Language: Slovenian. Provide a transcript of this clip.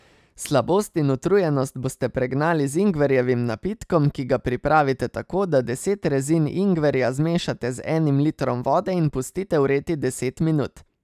Slabost in utrujenost boste pregnali z ingverjevim napitkom, ki ga pripravite tako, da deset rezin ingverja zmešate z enim litrom vode in pustite vreti deset minut.